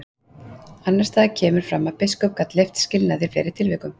Annars staðar kemur fram að biskup gat leyft skilnað í fleiri tilvikum.